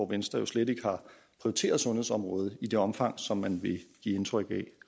venstre jo slet ikke har prioriteret sundhedsområdet i det omfang som man vil give indtryk af